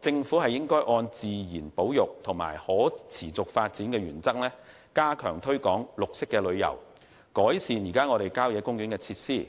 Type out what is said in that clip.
政府應按自然保育及可持續發展的原則加強推廣綠色旅遊，改善郊野公園設施，